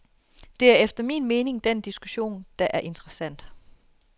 Det er efter min mening den diskussion, der er interessant.